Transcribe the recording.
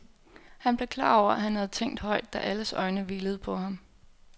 Han blev klar over at han havde tænkt højt, da alles øjne hvilede på ham.